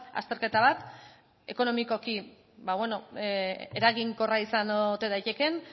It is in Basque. azterketa bat ekonomikoki eraginkorra izan ote daitekeen